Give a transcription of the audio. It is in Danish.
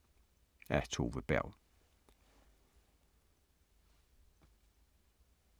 Af Tove Berg